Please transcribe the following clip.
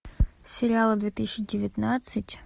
сериалы две тысячи девятнадцать